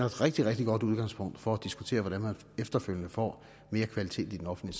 rigtig rigtig godt udgangspunkt for at diskutere hvordan man efterfølgende får mere kvalitet i den offentlige